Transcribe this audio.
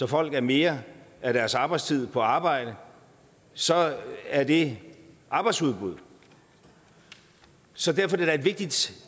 folk er mere af deres arbejdstid på arbejde så er det arbejdsudbud så derfor er det da et vigtigt